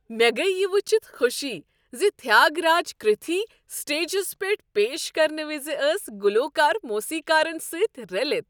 مےٚ گٔیۍ یہ وُچھتھ خوشی زِ تھیاگراج کرتھی سٹیجس پیٹھ پیش کرنہٕ وز ٲسۍ گلوکار موسیقارن سۭتۍ رٔلِتھ۔